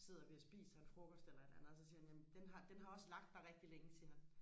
sidder vi og spiser en frokost eller et eller andet og så siger han jamen den har den har også lagt der rigtig længe siger han